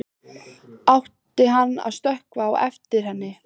Átti hann að stökkva á eftir henni?